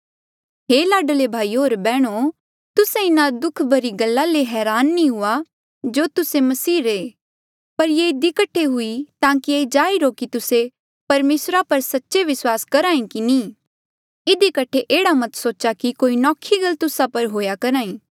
हे लाडले भाईयो होर बैहणो तुस्से इन्हा दुःख भरी गल्ला ले हरान नी हो जो तुस्से मसीह रे पर ये इधी कठे हुई ताकि ये जाहिर हो कि तुस्से परमेसरा पर सच्चे विस्वास करहे की नी इधी कठे एह्ड़ा मत सोच्हा कि कोई नौखी गल तुस्सा पर हुएया करहा ई